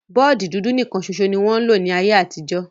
Bọọdi dudu nikan ṣoṣo ni wọn lo ní ayé àtijọ́.